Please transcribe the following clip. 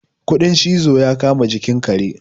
kudin cizo ya kama jikin kare